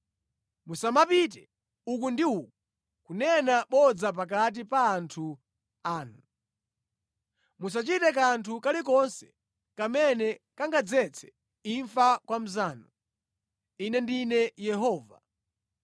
“ ‘Musamapite uku ndi uku kunena bodza pakati pa anthu anu. “ ‘Musachite kanthu kalikonse kamene kangadzetse imfa kwa mnzanu. Ine ndine Yehova.